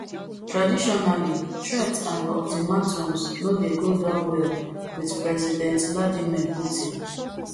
traditionally threats and ultimatums no dey go down well wit president vladimir putin